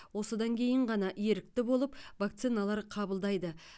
осыдан кейін ғана ерікті болып вакциналар қабылдайды